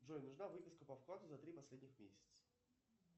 джой нужна выписка по вкладу за три последних месяца